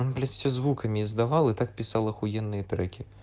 он блять все звуками издавал и так писал ахуенные треки